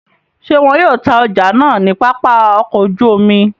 Ṣe wọn yoo ta ọja naa ni Papa ọkọ oju omi?